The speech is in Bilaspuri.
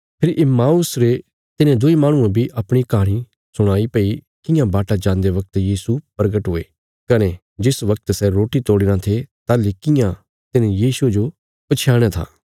फेरी Emmaus रे तिन्हें दुईं माहणुयें बी अपणी कहाणी सुणाई भई कियां बाटा जान्दे बगत यीशु परगट हुये कने जिस वगत सै रोटी तोड़ीरां थे ताहली कियां तिन्हे यीशुये जो पछयाणया था